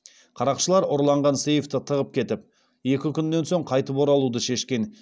қарақшылар ұрланған сейфті тығып кетіп екі күннен соң қайтып оралуды шешкен